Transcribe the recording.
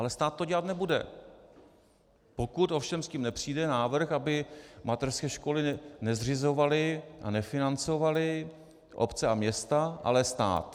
Ale stát to dělat nebude, pokud ovšem s tím nepřijde návrh, aby mateřské školy nezřizovaly a nefinancovaly obce a města, ale stát.